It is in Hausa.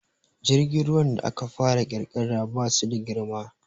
Jirgin ruwan da aka fara ƙirƙira ba su da girma